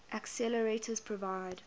accelerators provide